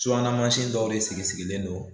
Subahana dɔw de sigi sigilen don